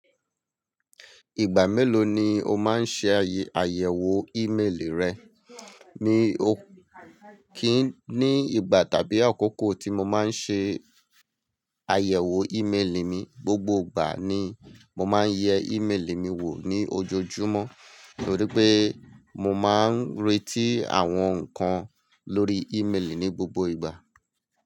Ìgbà mélòó ni o máa ń ṣe àyẹ̀wò ímélì rẹ? Ní o kíì ní ìgbà tàbí àkókò tí mo máa ń ṣe àyẹ̀wò ímélì mi, gbogbo ìgbà ni mo máa ń yẹ ímélì mi wò ní ojoojúmọ́ nítorí pé mo máa ń retí àwọn nǹkan lórí ímélì ní gbogbo ìgbà.